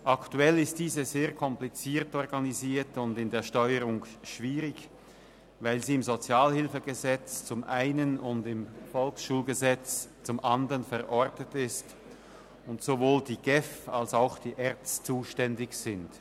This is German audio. Aktuell ist diese sehr kompliziert organisiert und in der Steuerung schwierig, weil sie im Gesetz über die öffentliche Sozialhilfe (Sozialhilfegesetz, SHG) zum einen und im Volksschulgesetz (VSG) zum andern verortet ist und sowohl die GEF als auch die ERZ zuständig sind.